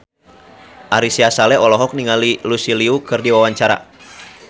Ari Sihasale olohok ningali Lucy Liu keur diwawancara